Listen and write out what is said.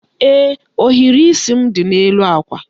Ee, ohiri isi m dị n'elu àkwà.